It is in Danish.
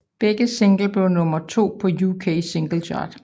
Begge singler blev nummer 2 på UK Singles Chart